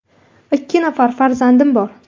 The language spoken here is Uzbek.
Ikki nafar farzandim bor.